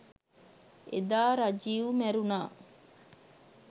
එදා රජිව් මැරුණා